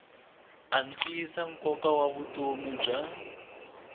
antswisa nkoka wa vutomi bya